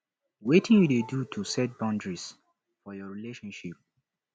wetin you dey do to set boundaries for your relationship